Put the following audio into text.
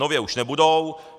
Nově už nebudou.